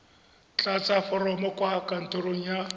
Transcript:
tlatsa foromo kwa kantorong ya